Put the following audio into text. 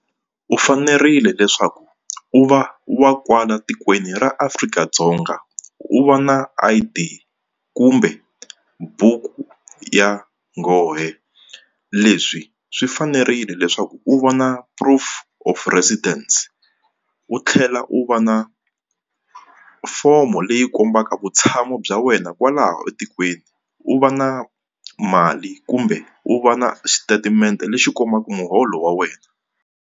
U fanerile leswaku u va wa kwala tikweni ra Afrika-Dzonga u va na I_D kumbe buku ya nghohe leswi swi fanerile leswaku u va na proof of residence u tlhela u va na fomo leyi kombaka vutshamo bya wena kwalaho etikweni u va na mali kumbe u va na xitatimende lexi kombaka muholo wa wena.